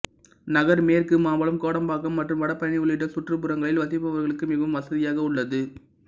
நகர் மேற்கு மாம்பலம் கோடம்பாக்கம் மற்றும் வடபழனி உள்ளிட்ட சுற்றுப்புறங்களில் வசிப்பவர்களுக்கு மிகவும் வசதியாக உள்ளது